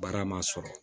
Baara ma sɔrɔ